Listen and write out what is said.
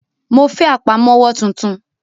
Mo fẹ́ Àpámọ́wọ́ tuntun